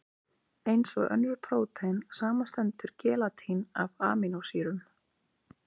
Eins og önnur prótein, samanstendur gelatín af amínósýrum.